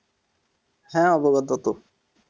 হ্যাঁ অবগত,